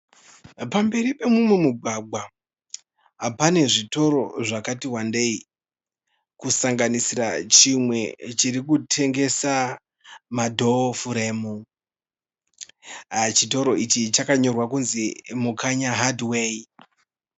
Pamberi pemumwe mugwagwa, pane zvitoro zvakati wandei kusanganisira chimwe chiri kutengesa madhoo furemu. Chitoro ichi chakanyorwa kunzi Mukanya Hardware.